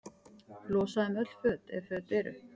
Losa um öll föt, ef föt eru.